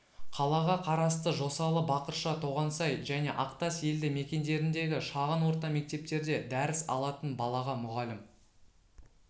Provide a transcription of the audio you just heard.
қалаға қарасты жосалы бақырша тоғансай және ақтас елді мекендеріндегі шағын орта мектептерде дәріс алатын балаға мұғалім